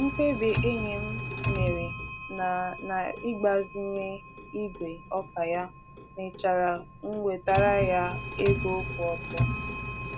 Mkpebi enyi m mere na na igbazinye igwe ọka ya mechara n'wetaara ya ego kwụ ọtọ.